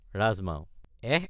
ৰাজমাও—এস্!